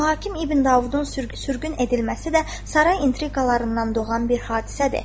Mühakim İbn Davudun sürgün edilməsi də saray intriqalarından doğan bir hadisədir.